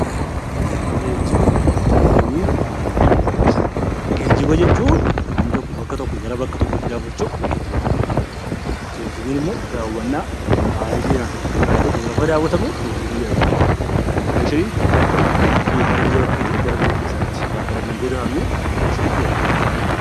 Geejjiba, Turiizimii fi Immigireeshinii Geejjiba jechuun namni tokko bakka tokkootti gaafa socho'u 'Geejjiba' jedhamuu dhaan beekama. Turiizimiin immoo daawwannaa hambaalee seenaa ta'u duudhaalee tokko gaafa daawwatamu 'Turiizimii' jedhamee beekama. Immigireeshiniin gara biyya bakkeetii gara biyya keessaatti gaafa namni godaanu 'Immigireeshinii' jedhamee waamama.